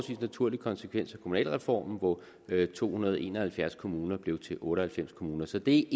naturlig konsekvens af kommunalreformen hvor to hundrede og en og halvfjerds kommuner blev til otte og halvfems kommuner så det